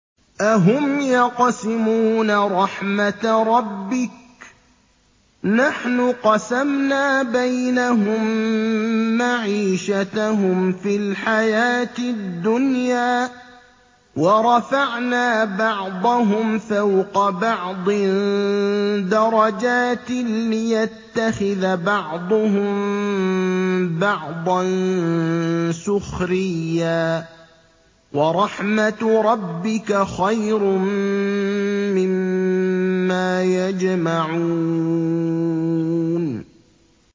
أَهُمْ يَقْسِمُونَ رَحْمَتَ رَبِّكَ ۚ نَحْنُ قَسَمْنَا بَيْنَهُم مَّعِيشَتَهُمْ فِي الْحَيَاةِ الدُّنْيَا ۚ وَرَفَعْنَا بَعْضَهُمْ فَوْقَ بَعْضٍ دَرَجَاتٍ لِّيَتَّخِذَ بَعْضُهُم بَعْضًا سُخْرِيًّا ۗ وَرَحْمَتُ رَبِّكَ خَيْرٌ مِّمَّا يَجْمَعُونَ